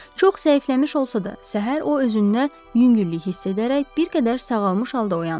Çox zəifləmiş olsa da, səhər o özünə yüngüllük hiss edərək bir qədər sağalmış halda oyandı.